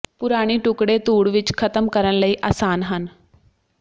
ਪੁਰਾਣੀ ਟੁਕੜੇ ਧੂੜ ਵਿੱਚ ਖਤਮ ਕਰਨ ਲਈ ਆਸਾਨ ਹਨ